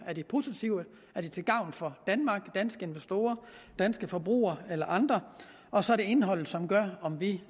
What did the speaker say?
er de positive er de til gavn for danmark danske investorer danske forbrugere eller andre og så er det indholdet som gør om vi